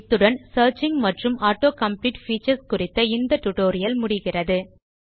இத்துடன் சியர்ச்சிங் மற்றும் auto complete features குறித்த இந்த டியூட்டோரியல் முடிகிறது